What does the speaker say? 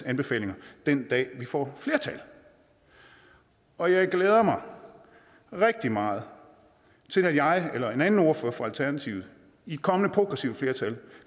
anbefalinger den dag vi får flertal og jeg glæder mig rigtig meget til når jeg eller en anden ordfører for alternativet i et kommende progressivt flertal